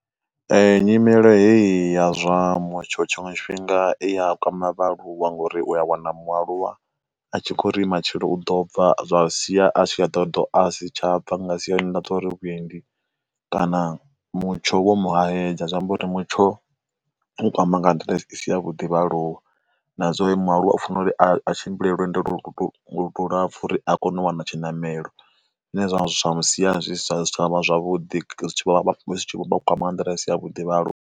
Nyimelo heyi ya zwamutsho tshiṅwe tshifhinga i a kwama vhaaluwa ngori u a wana mualuwa a tshi khou ri matshelo u ḓo bva zwa sia a tshi a dovha a ḓo asi tsha bva nga siyani ḽa zwori vhuendi kana mutsho wo mu hahedza, zwi amba uri mutsho u kwama nga nḓila i si ya vhuḓi vhaaluwa. Nazwori mualuwa ha faneli a tshimbila lwendo lu lapfhu uri a kone u wana tshinamelo zwine zwa sia zwi si tshavha zwavhuḓi kwama nga nḓila i si ya vhuḓi vhaaluwa.